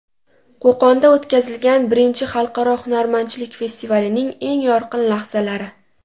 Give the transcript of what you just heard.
Qo‘qonda o‘tkazilgan I Xalqaro hunarmandchilik festivalining eng yorqin lahzalari .